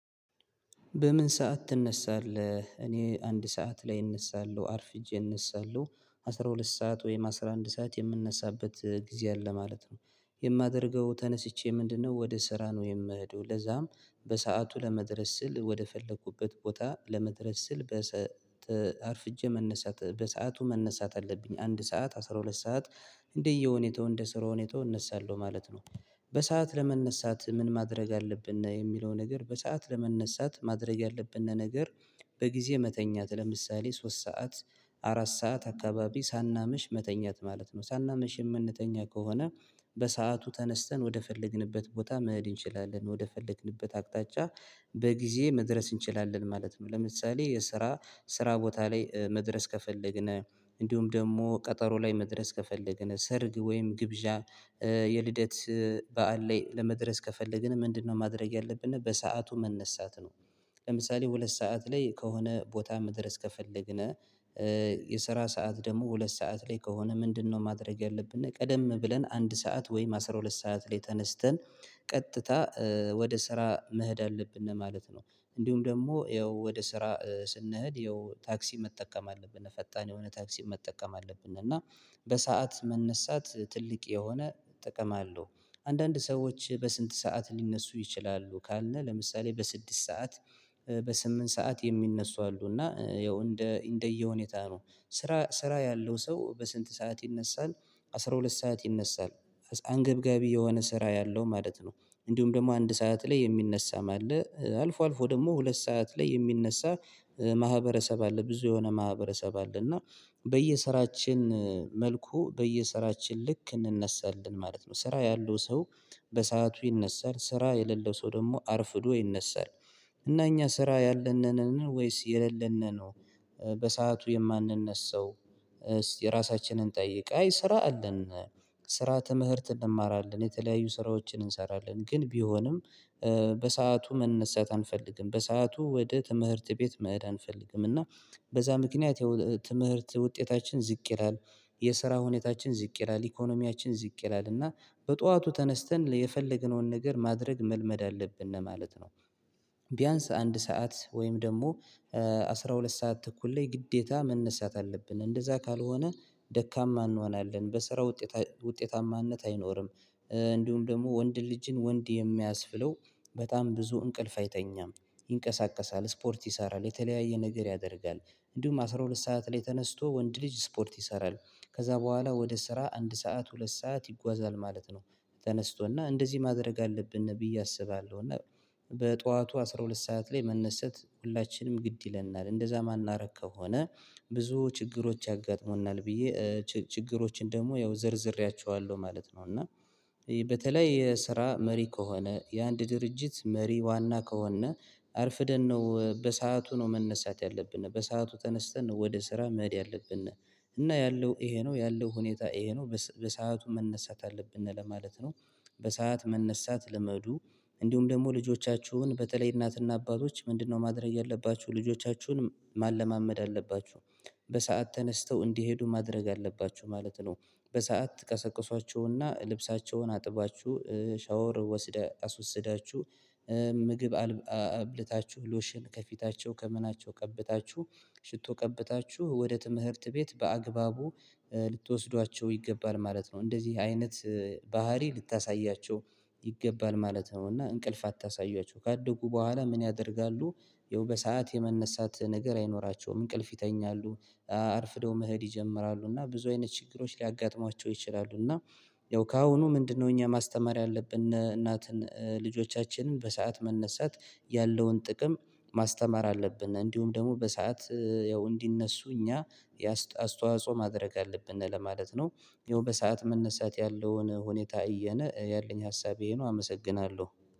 በምን ሰዓት ትነሳለህ እኔ አንድ ሰዓት ላይ እነሳለሁ አርፍጄ እነሳለሁ አስራ ሁለት ሰዓት ወይም አስራ አንድ ሰዓት የምነሳበት ጊዜ አለ ማለት ነው የማደርገው ተነስቼ ምንድነው ወደ ስራ ነው የምሄደው ለዛም በሰአቱ ለመድረስ ስል ወደ ፈለኩበት ቦታ ለመድረስ ስል በሰ አርፍጄ መነሳት በሰአቱ መነሳት አለብኝ አንድ ሰዓት አስራ ሁለት ሰዓት እንደየሁኔታው እንደ ስራ ሁኔታው እነሳለሁ ማለት ነው። በሰአት ለመነሳት ምን ማድረግ አለብን የሚለው ነገር በሰአት ለመነሳት ማድረግ ያለብን ነገር በጊዜ መተኛት ለምሳሌ ሶስት ሰዓት አራት ሰዓት አካባቢ ሳናመሽ መተኛት ማለት ነው ሳናምሽ የምንተኛ ከሆነ በሰአቱ ተነስተን ወደ ፈለግንበት ቦታ መሄድ እንችላለን ወደ ፈለግንበት አቅጣጫ በጊዜ መድረስ እንችላለን ማለት ነው ለምሳሌ የስራ ስራ ቦታ ላይ መድረስ ከፈለግን እንዲሁም ደግሞ ቀጠሮ ላይ መድረስ ከፈለግን፣ ሰርግ ወይም ግብዣ፣ የልደት በዓል ላይ ለመድረስ ከፈለግን ምንድነው ማድረግ ያለብን በሰአቱ መነሳት ነው። ለምሳሌ ሁለት ሰዓት ላይ ከሆነ ቦታ መድረስ ከፈለግን የስራ ሰዓት ደግሞ ሁለት ሰዓት ላይ ከሆነ ምንድነው ማድረግ ያለብን ቀደም ብለን አንድ ሰዓት ወይም አስራ ሁለት ሰዓት ላይ ተነስተን ቀጥታ ወደ ስራ መሄድ አለብን ማለት ነው እንዲሁም ደግሞ ይኸው ወደ ስራ ስንሄድ ይኸው ታክሲ መጠቀም አለብን ፈጣን የሆነ ታክሲ መጠቀም አለብን እና በሰአት መነሳት ትልቅ የሆነ ጥቅም አለው አንዳንድ ሰዎች በስንት ሰዓት ሊነሱ ይችላሉ ካልነ ለምሳሌ በስድስት ሰዓት በስምንት ሰዓት የሚነሱ አሉ እና ያው እንደ እንደየሁኔታ ነው። ስራ ስራ ያለው ሰው በስንት ሰዓት ይነሳል አስራ ሁለት ሰዓት ይነሳል አንገብጋቢ የሆነ ስራ ያለው ማለት ነው እንዲሁም ደግሞ አንድ ሰዓት ላይ የሚነሳ አለ። አልፎ አልፎ ደግሞ ሁለት ሰዓት ላይ የሚነሳ ማህበረሰብ አለ ብዙ የሆነ ማህበረሰብ አለ እና በየስራችን መልኩ በየስራችን ልክ እንነሳለን ማለት ነው ስራ ያለው ሰው በሰአቱ ይነሳል ስራ የሌለው ሰው ደግሞ አርፍዶ ይነሳል እና እኛ ስራ ያለን ነንን ወይስ የሌለን ነን ነው በሰአቱ የማንነሳው እስቲ ራሳችንን እንጠይቅ? አይ ስራ አለን ስራ ተምህርት እንማራለን የተለያዩ ስራዎችን እንሰራለን ግን ቢሆንም በሰአቱ መነሳት አንፈልግም በሰአቱ ወደ ትምህርት ቤት መሄድ አንፈልግም እና በዛ ምክንያት ትምህርት ውጤታችን ዝቅ ይላል፣ የስራ ሁኔታችን ዝቅ ይላል፣ ኢኮኖሚያችን ዝቅ ይላል። እና በጠዋቱ ተነስተን የፈለግነውን ነገር ማድረግ መልመድ አለብን ማለት ነው። ቢያንስ አንድ ሰዓት ወይም ደግሞ አስራ ሁለት ሰዓት ተኩል ላይ ግዴታ መነሳት አለብን እንደዛ ካልሆነ ደካማ እንሆናለን በስራ ውጤት ውጤታማነት አይኖርም እንዲሁም ደግሞ ወንድ ልጅን ወንድ የሚያስብለው በጣም ብዙ እንቅልፍ አይተኛም። ይንቀሳቀሳል ስፖርት ይሰራል የተለያየ ነገር ያደርጋል እንዲሁም አስራ ሁለት ሰዓት ላይ ተነስቶ ወንድ ልጅ ስፖርት ይሰራል። ከዛ በኋላ ወደ ስራ አንድ ሰዓት ሁለት ሰዓት ይጓዛል ማለት ነው ተነስቶ እና እንደዚህ ማድረግ አለብን ብይ አስባለሁ እና በጠዋቱ አስራ ሁለት ሰዓት ላይ መነሰት ሁላችንም ግድ ይለናል እንደዛ ማናረግ ከሆነ ብዙ ችግሮች ያጋጥሙናል ብዬ ችግሮችን ደግሞ ያው ዘርዝሬያቸዋለሁ ማለት ነው እና በተለይ የስራ መሪ ከሆነ የአንድ ድርጅት መሪ ዋና ከሆነ አርፍደን ነው በሰአቱ ነው መነሳት ያለብን በሰአቱ ተነስተን ወደ ስራ መሄድ ያለብን እና ያለው ይሄ ነው ያለው ሁኔታ ይሄ ነው በሰአቱ መነሳት አለብን ለማለት ነው። በሰአት መነሳት ልመዱ እንዲሁም ደግሞ ልጆቻችሁን በተለይ እናትና አባቶች ምንድነው ማድረግ ያለባችሁ ልጆቻችሁን ማለማመድ አለባችሁ። በሰአት ተነስተው እንዲሄዱ ማድረግ አለባችሁ ማለት ነው በሰአት ትቀሰቅሷቸውና ልብሳቸውን አጥባችሁ ሻወር ወስደህ አስወስዳችሁ ምግብ አብልታችሁ፣ ሎሽን ከፊታቸው ከምናቸው ቀብታችሁ፣ ሽቶ ቀብታችሁ ወደ ትምህርት ቤት በአግባቡ ልትወስዷቸው ይገባል ማለት ነው። እንደዚህ አይነት ባህሪ ልታሳያቸው ይገባል ማለት ነው እና እንቅልፍ አታሳያቸው ካደጉ በኋላ ምን ያደርጋሉ ይኸው በሰአት የመነሳት ነገር አይኖራቸውም እንቅልፍ ይተኛሉ። አርፍደው መሄድ ይጀምራሉ እና ብዙ አይነት ችግሮች ሊያጋጥሟቸው ይችላሉ እና ያው ከአሁኑ ምንድነው እኛ ማስተማር ያለብን እናትን ልጆቻችንን በሰአት መነሳት ያለውን ጥቅም ማስተማር አለብን እንዲሁም ደግሞ በሰአት ያው እንዲነሱ እኛ አስተዋጽኦ ማድረግ አለብን ለማለት ነው ይሄው በሰአት መነሳት ያለውን ሁኔታ አየን ያለኝ ሀሳብ ይሄ ነው አመሰግናለሁ።